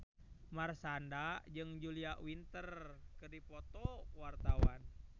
Marshanda jeung Julia Winter keur dipoto ku wartawan